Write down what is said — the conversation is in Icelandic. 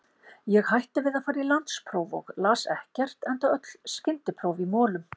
Ég hætti við að fara í landspróf og las ekkert, enda öll skyndipróf í molum.